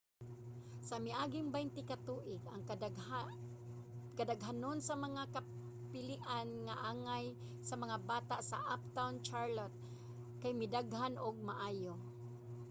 sa miaging 20 ka tuig ang kadaghanon sa mga kapilian nga angay sa mga bata sa uptown charlotte kay midaghan og maayo